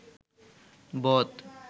বদ